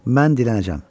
Mən dilənəcəm.